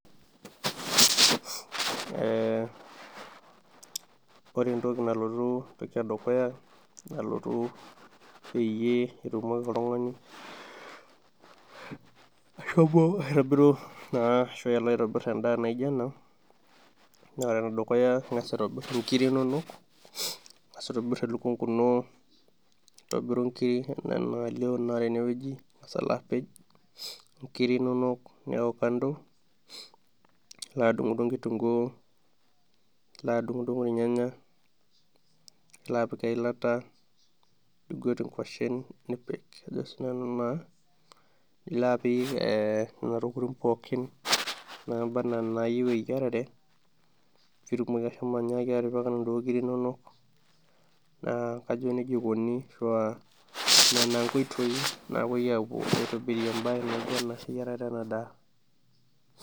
Eee ore entoki nalotu peyiei itumoki oltung'ani ashomo aitobiru endaa naijio ena ing'as atobir elukunku ino nintobir inkir enaa enalio tenewueji ning'as apej inkirik inonok nilo adung'udung kitunkuu ornyanya nilonapik eilata niguet inkuasen nilo apik nena pookin naayieu pitumoki anyaaki ashomo atipika naa kajo nejia eikoni inkoitoi naapuoi aitobirie eyiarare ena daa.